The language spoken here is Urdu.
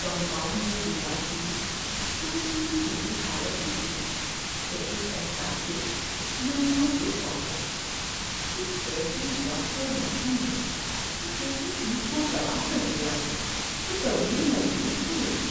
کمپاؤنڈ کی دیوار کی ٹوٹی پھوٹی حالت دیکھی تو اس احساس سے دل کو دکھ پہنچا کہ کیسے وقت اور موسم نے ایک ایسی چیز کو تباہ کر دیا جو کبھی مضبوط کھڑی تھی۔